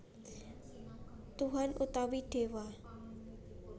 Tuhan utawi Déwa